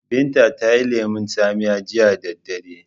Binta tayi lemon tsamiya jiya da dare